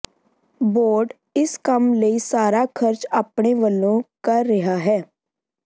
board ਇਸ ਕੰਮ ਲਈ ਸਾਰਾ ਖਰਚ ਆਪਣੇ ਵੱਲੋਂ ਕਰ ਰਿਹਾ ਹੈ